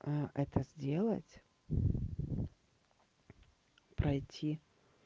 а это сделать пройти